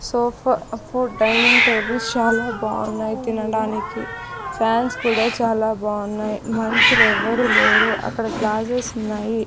Sofa food dining tables చాలా బాగున్నాయి తినడానికి ఫ్యాన్స్ కూడా చాలా బావున్నాయ్ మనుషులెవ్వరూ లేరు అక్కడ గ్లాసెస్ ఉన్నాయి.